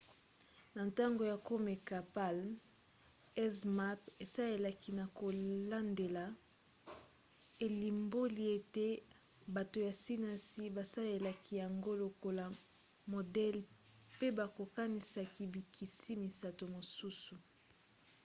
na ntango ya komeka palm zmapp esalisaki na kolandela elimboli ete bato ya sinasi basalelaki yango lokola modele pe bakokanisaki bikisi misato mosusu